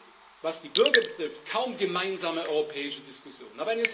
Wir haben, was die Bürger betrifft, kaum gemeinsame europäische Diskussionen.